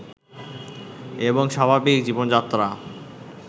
এবং স্বাভাবিক জীবনযাত্রা